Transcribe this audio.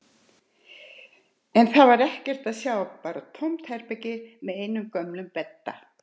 En þar var ekkert að sjá, bara tómt herbergi með einum gömlum bedda.